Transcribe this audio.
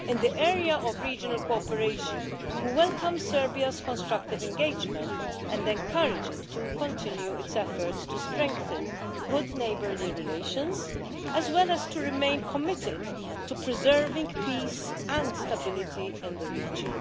In the area of regional cooperation we welcome Serbia's constructive engagement and encourage it to continue its efforts to strengthen good neighbourly relations as well as to remain committed to preserving peace and stability in the region.